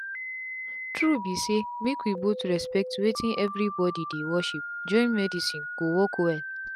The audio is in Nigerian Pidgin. true be saymake we both respect wetin everybody dey worship join medicine go work well.